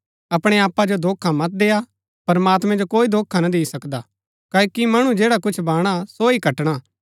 अपणै आपा जो धोखा मत देय्आ प्रमात्मैं जो कोई धोखा ना दी सकदा क्ओकि मणु जैडा कुछ बाणा सो ही कटणा